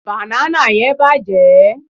bana yen bàjé